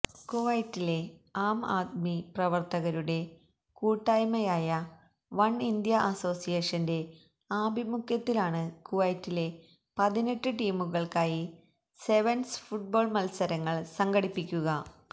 കുവൈറ്റിലെ ആം ആദ്മി പ്രവർത്തകരുടെ കൂട്ടായ്മയായവൺ ഇന്ത്യ അസോസിയേഷന്റെ ആഭിമുഖ്യത്തിലാണ് കുവൈത്തിലെ പതിനെട്ട് ടീമുകൾക്കായി സെവൻസ് ഫുട്ബോൾ മത്സരങ്ങൾ സംഘടിപ്പിക